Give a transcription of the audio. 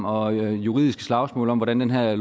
og juridiske slagsmål om hvordan den her